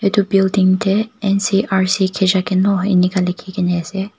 edu building dey NCRC Khezhakeno inika likhi kena ase.